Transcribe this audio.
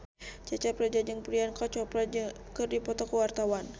Cecep Reza jeung Priyanka Chopra keur dipoto ku wartawan